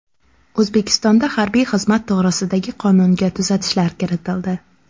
O‘zbekistonda harbiy xizmat to‘g‘risidagi qonunga tuzatishlar kiritildi.